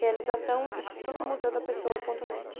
Realização Instituto Museu da Pessoa ponto néti.